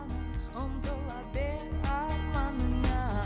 ұмтыла бер арманыңа